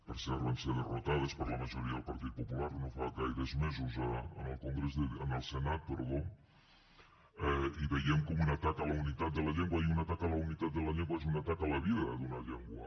per cert van ser derrotades per la majoria del partit popular no fa gaires mesos en el senat i ho veiem com un atac a la unitat de la llengua i un atac a la unitat de la llengua és un atac a la vida d’una llengua